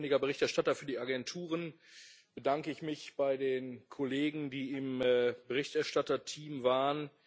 Als ständiger Berichterstatter für die Agenturen bedanke ich mich bei den Kollegen, die im Berichterstatterteam waren.